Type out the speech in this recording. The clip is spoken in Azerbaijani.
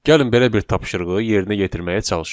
Gəlin belə bir tapşırığı yerinə yetirməyə çalışaq.